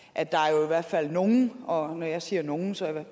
at der jo i hvert fald er nogle og når jeg siger nogle så er det